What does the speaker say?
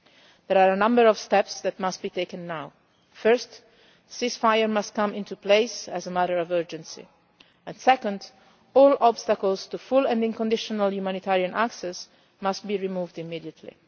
There are a number of steps that must be taken now first, a ceasefire must come into place as a matter of urgency, and second, all obstacles to full and unconditional humanitarian access must be removed immediately.